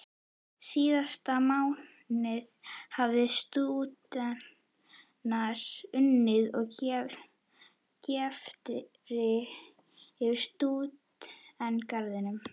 Síðasta mánuð hafa stúdentar unnið að greftri fyrir Stúdentagarðinum.